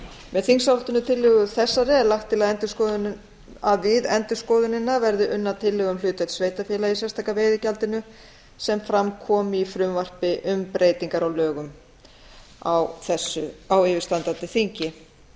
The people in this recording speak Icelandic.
með þingsályktunartillögu þessari er lagt til að við endurskoðunina verði unnar tillögur um hlutdeild sveitarfélaga í sérstaka veiðigjaldinu sem fram kom í frumvarpi um breytingar á lögum á yfirstandandi þingi